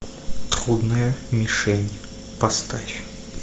трудная мишень поставь